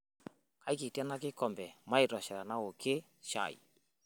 Keikiti ena kikombe maitosha tenaokie shai.